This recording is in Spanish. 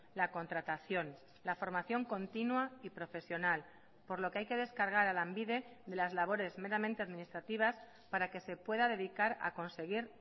la contratación la formación continua y profesional por lo que hay que descargar a lanbide de las labores meramente administrativas para que se pueda dedicar a conseguir